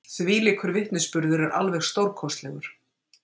Þvílíkur vitnisburður er alveg stórkostlegur.